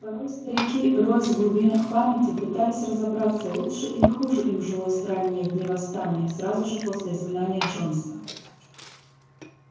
порой старики роясь в глубинах памяти пытались разобраться лучше или хуже им жилось в ранние дни восстания сразу же после изгнания джонса